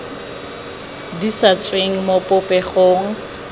di sa tsweng mo popegong